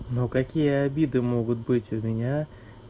ну какие обиды могут быть у меня